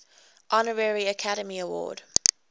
honorary academy award